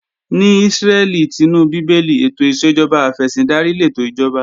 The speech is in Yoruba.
Ní Ísírẹ́lì tinú Bíbélì, ètò ìṣèjọba afẹ̀sìndarí lètò ìjọba